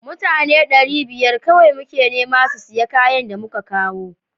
Mutane ɗari biyar kawai muke nema su siya kayan da muka kawo